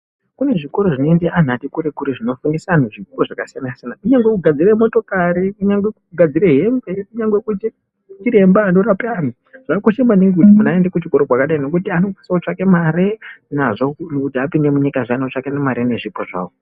Kune zvikoro zvinoende antu ati kure kure zvinofundise antu zvipo zvakasiyana siyana kunyangwe kugadzire motokari, kunyangwe kugadzire hembe, kunyangwe kuita chiremba anorape antu zvakakosha maningi kuti muntu aende kuchikoro kwakadai ngokuti anosvika otsvake mare nazvo kuti apinde munyika aone kutsvake mare nezvipo zvawo.